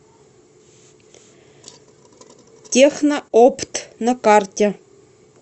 техноопт на карте